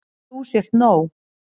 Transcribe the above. Að þú sért nóg.